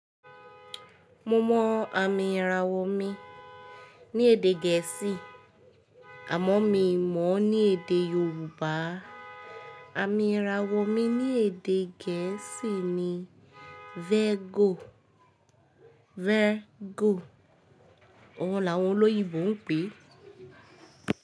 Mo mọ àmì ìràwọ̀ mi ní èdè gẹ̀ẹ́sì ámo mí mọ̀ ní èdè Yoruba àmí Írawo mi ní èdè geesi ni Virgo. Ọ̀hun làwọn olóyèbo ń pè é.